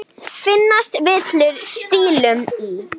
Finnast villur stílum í.